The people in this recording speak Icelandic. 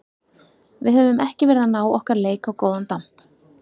Við höfum ekki verið að ná okkar leik á góðan damp.